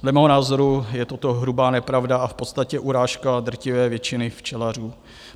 Dle mého názoru je toto hrubá nepravda a v podstatě urážka drtivé většiny včelařů.